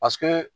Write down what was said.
Paseke